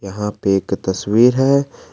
यहां पे एक तस्वीर है।